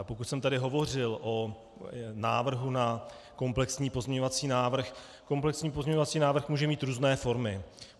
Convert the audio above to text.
A pokud jsem tady hovořil o návrhu na komplexní pozměňovací návrh - komplexní pozměňovací návrh může mít různé formy.